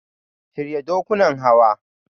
Shirya dokunan Hawan.